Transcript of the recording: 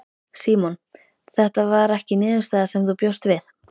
Símon: Þetta var ekki niðurstaða sem þú bjóst við?